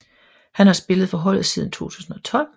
Han har spillet for holdet siden 2012